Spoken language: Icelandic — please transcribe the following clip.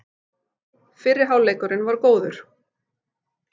Fyrri hálfleikurinn var góður